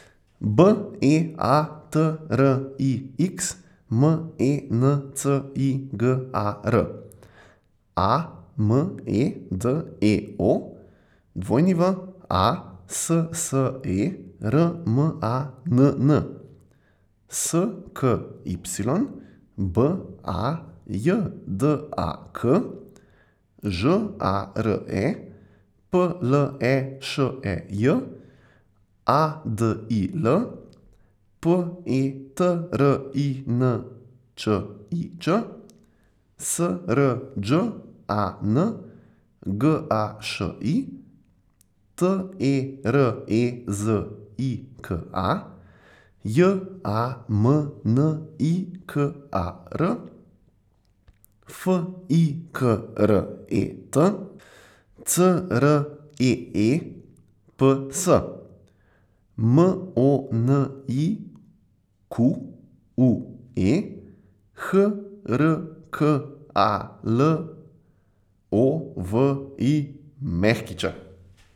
B E A T R I X, M E N C I G A R; A M E D E O, W A S S E R M A N N; S K Y, B A J D A K; Ž A R E, P L E Š E J; A D I L, P E T R I N Č I Č; S R Đ A N, G A Š I; T E R E Z I K A, J A M N I K A R; F I K R E T, C R E E P S; M O N I Q U E, H R K A L O V I Ć.